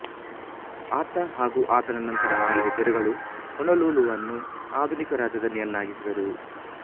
ಆತ ಹಾಗೂ ಆತನ ನಂತರ ಆಳಿದ ದೊರೆಗಳು ಹೊನೊಲುಲುವನ್ನು ಆಧುನಿಕ ರಾಜಧಾನಿಯನ್ನಾಗಿಸಿದರು